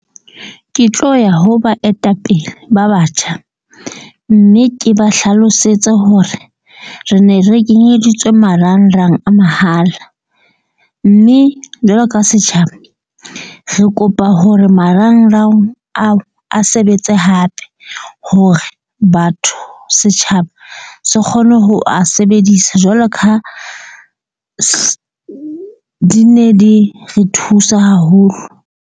Ke tlo ya ho baetapele ba batjha. Mme ke ba hlalosetse hore re ne re kenyeditswe marangrang a mahala. Mme jwalo ka setjhaba, re kopa hore marangrang ao a sebetse hape hore batho setjhaba se kgone ho a sebedisa jwalo ka di ne di re thusa haholo.